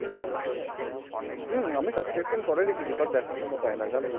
হুঁ আমি subscription করে রেখেছি but দেখার সময় পেই না জানো